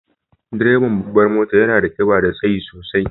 Direban babbar motar yana da kiba da tsayi sosai.